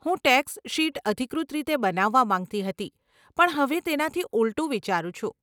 હું tax sheet અધિકૃત રીતે બનાવવા માંગતી હતી પણ હવે તેનાથી ઉલટું વિચારું છું.